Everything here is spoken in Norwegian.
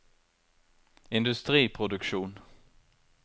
industriproduksjon